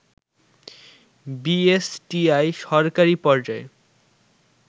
BSTI সরকারি পর্যায়ে